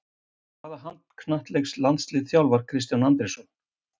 Hvaða handknattleiks-landslið þjálfar Kristján Andrésson?